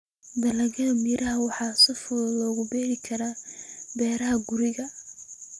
Dalagyada miraha waxaa si fudud loogu beeri karaa beeraha guriga.